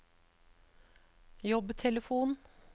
jobbtelefon